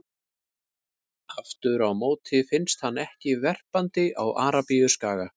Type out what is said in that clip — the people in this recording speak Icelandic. Aftur á móti finnst hann ekki verpandi á Arabíuskaga.